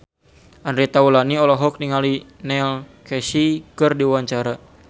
Andre Taulany olohok ningali Neil Casey keur diwawancara